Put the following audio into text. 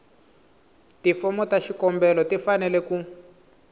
tifomo ta xikombelo tifanele ku